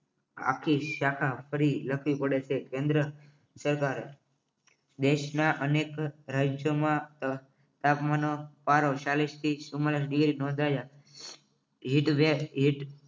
આખી શાખા ફરી લખવી પડે છે કેન્દ્ર સરકાર દેશના અનેક રાજ્યોમાં તાપમાનનો પારો ચાલીશ થી ચુમાંલીશ ઉપર નોંધાયા heat wave heat